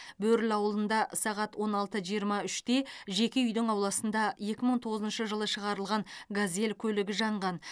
бөрлі ауылында сағат он алты жиырма үште жеке үйдің ауласында екі мың тоғызыншы жылы шығарылған газель көлігі жанған